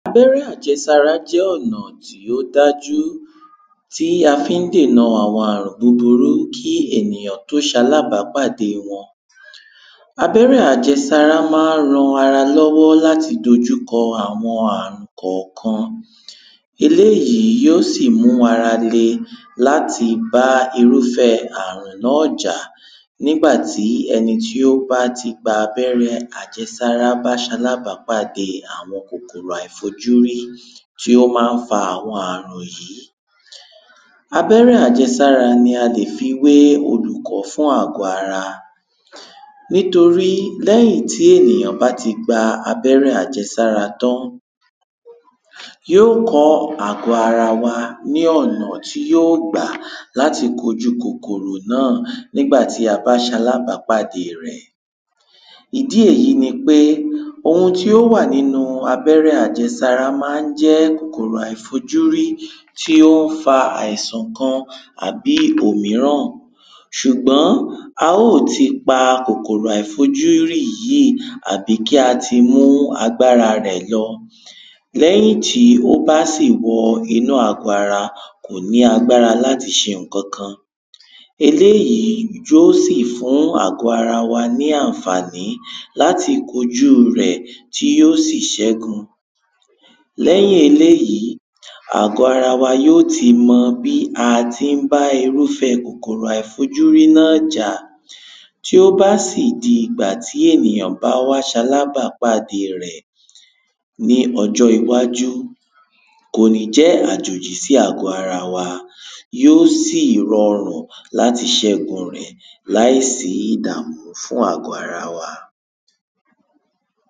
abẹ́rẹ́ àjẹsára jẹ́ ọ̀nà tí ó dájú tí a fín dèna àwọn àrùn búburú kí ènìyàn tó ṣalábápàde wọn. abẹ́rẹ́ àjẹsára maá ran ara lọ́wọ́ láti dojú kọ àwọn àrùn kànkan. eléyìí yíó sì mú ara le láti bá irúfẹ́ẹ àrùn náà jà, nígbàtí ẹni tí ó bá ti gba abẹ́rẹ àjẹsára bá ṣalábápàdée àwọn kòkòrò àìfojúrí tí ó ma ń fa àwọn àrùn yìí. abẹ́rẹ́ àjẹsára ni a lè fi wé olùkọ́ fún agbọ́-ara, nítorí tí lẹ́yìn tí ẹ̀nìyán bá ti gba abẹ́rẹ́ àjẹsára tán, yíò kọ́ àgbọ́-ara wa ní ọ̀nà tí yíò gbà láti kojú kòkòrò náà nígbàtí a bá ṣalábápàdée rẹ̀. ìdí èyí ni pé ohun tí ó wà nínu abẹ́rẹ́ àjẹsára mán jẹ́ kòkòrò àìfojúrí tí ó ń fa àìsan kan tàbí òmíràn. ṣùgbọ́n a ó ti pa kòkòrò àìfojúrí yìí àbí kí a ti mú àgbára rẹ̀ lọ, lẹ́yìn tí ó bá sì wọ inú àgbọ-ara kòní agbára láti ṣe ǹkankan. eléyìí yó sì fún àgbọ-ara wa ní ànfàní láti kojúu rẹ̀ tí yó sì ṣẹ́gun, lẹ́yìn eléyìí, àgbọ-ara yíò ti mọ bí a tí ń bá irúfẹ́ẹ kòkòrò àìfojúrí náà jà, tí ó bá sì di ìgbà tí ènìyàn bá wá ṣalábápàdé rẹ̀ ní ọjọ́ iwájú. kòní jẹ́ àjòjì sí àgbọ́-ara wa, yó sì rọrùn láti ṣẹ́gun rẹ̀ láìsí ìdàmú fún àgbọ́-ara wa.